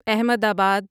احمد آباد